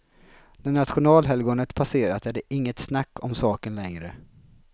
När nationalhelgonet passerat är det inget snack om saken längre.